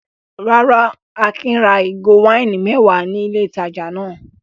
Rárá, Akin ra ìgò wáìnì mẹ́wàá ní ilé-ìtajà náà.